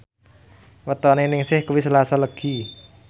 wetone Ningsih kuwi Selasa Legi